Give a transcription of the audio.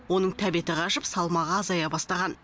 оның тәбеті қашып салмағы азая бастаған